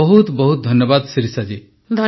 ବହୁତ ବହୁତ ଧନ୍ୟବାଦ ଶିରିଷା ଜୀ